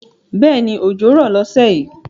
Bẹ́ẹ̀ni òjò rọ̀ lọ́sẹ̀ yìí